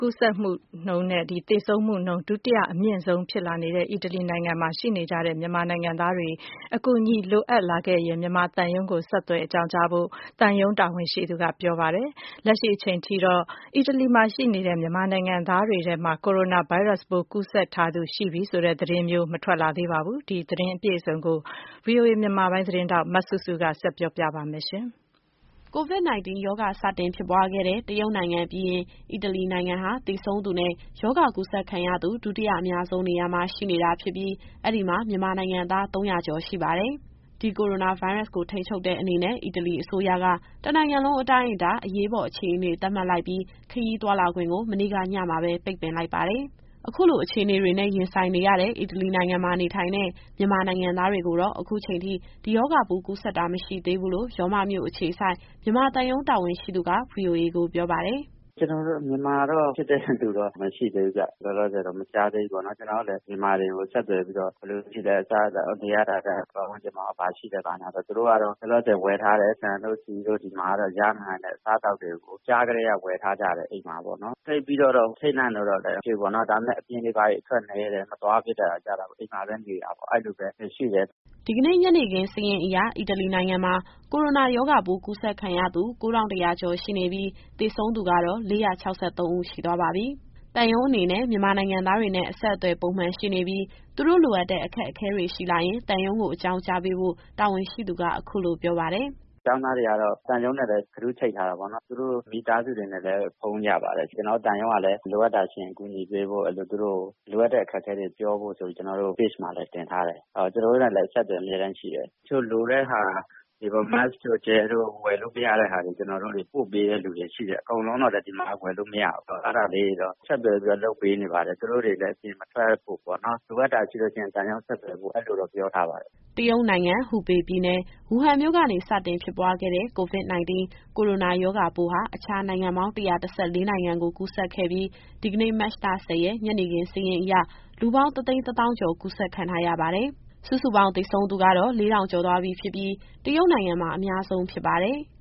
ကူးစက်နှုန်းနဲ့ သေဆုံးနှုန်း ဒုတိယအမြင့်ဆုံးဖြစ်နေတဲ့ အီတလီနိုင်ငံမှာ ရောက်ရှိနေထိုင်နေတဲ့ မြန်မာနိုင်ငံသားတွေ လိုအပ်တဲ့ အကူအညီရှိလာခဲ့ရင် မြန်မာသံရုံးကို ဆက်သွယ်အကြောင်းကြားဖို့ သံရုံးတာဝန်ရှိသူက ပြောပါတယ်။ လက်ရှိအချိန်ထိကတော့ အီတလီရောက် မြန်မာနိုင်ငံသားတွေထဲမှာ ကိုရိုနာဗိုင်းရပ်စ်ပိုး ကူးစက်ထားသူရှိပြီဆိုတဲ့ သတင်းမျိုး မထွက်သေးပါဘူး။ အပြည့်အစုံကို ဗွီအိုအေမြန်မာပိုင်း သတင်းထောက် မစုစုက ဆက်ပြောပြပါမယ်။ COVID-19 ရောဂါ စတင်ဖြစ်ပွားခဲ့တဲ့ တရုတ်နိုင်ငံပြီးရင် အီတလီနိုင်ငံဟာ သေဆုံးသူနဲ့ ရောဂါကူးစက်ခံရသူ ဒုတိယအများဆုံး နေရာမှာ ရှိနေတာဖြစ်ပြီး အဲဒီမှာ မြန်မာနိုင်ငံသား ၃၀၀ ကျော်ရှိပါတယ်။ ဒီကိုရိုနာဗိုင်းရပ်စ်ကို ထိန်းချုပ်တဲ့အနေနဲ့ အီတလီအစိုးရက တနိုင်ငံလုံးအတိုင်းအတာ အရေးပေါ်အခြေအနေ သတ်မှတ်လိုက်ပြီး ခရီးသွားလာခွင့်ကို မနေ့ကညမှာပဲ ပိတ်ပင်လိုက်ပါတယ်။ အခုလို အခြေအနေတွေနဲ့ ရင်ဆိုင်နေရတဲ့ အီတလီနိုင်ငံမှာ နေထိုင်တဲ့ မြန်မာနိုင်ငံသားတွေကိုတော့ ခုချိန်ထိ ဒီရောဂါပိုးကူးစက်တာ မရှိသေးဘူးလို့ ရောမမြို့အခြေစိုက် မြန်မာသံရုံးတာဝန်ရှိသူက ဗွီအိုအေကိုပြောပါတယ်။ “ကျနော်တို့ မြန်မာတော့ ဖြစ်တဲ့သူ မရှိသေးဘူးဗျ။ လောလောဆယ်တော့ မကြားသေးဘူးပေါ့နော်။ ကျနော်တို့လည်း မြန်မာတွေကို ဆက်သွယ်ပြီးတော့ အခြေအနေဘယ်လိုရှိလဲ။ အစားအသောက်၊ နေရထိုင်ရတဲ့ အခြေအနေ၊ ပတ်ဝန်းကျင်မှာရော ဘာရှိလဲပေါ့နော်။ သူတို့ကတော့ လောလောဆယ်မှာ ဆန်တို့၊ ဆီတို့ ဒီမှာ ရနိုင်မယ့် အစားအသောက်တွေကို ကြားကတည်းက ဝယ်ထားကြတယ်ပေါ့နော်။ သိပ်ပြီးတော့ အထိတ်တလန့်တော့ မဖြစ်ဘူးပေါ့။ ဒါပေမဲ့ အပြင်တွေဘာတွေတော့ အသွားအလာနည်းပြီး အိမ်မှာပဲနေတာပေါ့နော်။” ဒီကနေ့ ညနေခင်း စာရင်းအရ အီတလီနိုင်ငံမှာ ကိုရိုနာရောဂါပိုး ကူးစက်ခံရသူ ၉,၁၇၂ ဦး ရှိပြီး၊ သေဆုံးသူကတော့ ၄၆၃ ဦး ရှိသွားပါပြီ။ သံရုံးအနေနဲ့ မြန်မာနိုင်ငံသားတွေနဲ့ အဆက်အသွယ် ပုံမှန်ရှိနေပြီး သူတို့လိုအပ်တဲ့ အခက်အခဲတွေရှိလာရင် သံရုံးကို အကြောင်းကြားပေးဖို့ တာဝန်ရှိသူက အခုလိုပြောပါတယ်။ “ကျောင်းသားတွေကတော့ သံရုံးနဲ့လည်း Group ချိတ်ထားတာပေါ့နော်။ သူတို့မိသားစုတွေနဲ့လည်း ဖုန်းရပါတယ်။ ကျနော်တို့ သံရုံးကလည်း လိုအပ်တာရှိရင် ကူညီပေးနိုင်ဖို့ကို သူတို့ကိုလိုအပ်တဲ့ အခက်အခဲတွေ ပြောဖို့ဆိုပြီးတော့ ကျနော်တို့ ပေ့ချ်မှာလည်း တင်ထားတယ်။ သူတို့နဲ့လည်း အဆက်အသွယ် အမြဲတမ်းရှိတယ်။ တချို့လိုတဲ့ဟာတွေပေါ့ Mask တို့ Hand Gel တို့ သူတို့ ဝယ်လို့မရတဲ့ဟာတွေကို ကျနော်တို့တွေ ပို့ပေးတဲ့ သူတွေရှိတယ်။ အကုန်လုံးတော့ ဒီမှာလည်း ဝယ်လို့မရဘူးဆိုတော့ အဲဒါတွေကို ဆက်သွယ်ပြီး လုပ်ပေးနေပါတယ်။ သူတို့တွေလည်း အပြင်မထွက်ဖို့ပေါ့နော်။ လိုအပ်တာရှိလို့ရှိရင် သံရုံးကို ဆက်သွယ်ဖို့ ပြောထားပါတယ်။” တရုတ်နိုင်ငံ၊ ဟူပေပြည်နယ်၊ ဝူဟန်မြို့ကနေ စတင်ဖြစ်ပွားခဲ့တဲ့ COVID- 19 ကိုရိုနာရောဂါပိုးဟာ အခြားနိုင်ငံပေါင်း ၁၁၄ နိုင်ငံကို ကူးစက်ခဲ့ပြီး ဒီကနေ့ မတ်လ ၁၀ ရက် ညနေခင်းစာရင်းအရ လူပေါင်း ၁၁၀,၀၀၀ ကျော် ကူးစက်ခံထားရပါတယ်။ ဒါဟာ သေဆုံးသူကတော့ စုစုပေါင်း ၄,၀၀၀ ကျော်သွားပြီဖြစ်ပြီး တရုတ်နိုင်ငံမှာ အများဆုံးဖြစ်ပါတယ်။